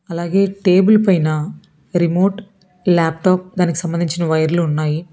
అలాగే టేబుల్ పైన remote laptop దానికి సంబంధించిన వైర్లు ఉన్నాయి.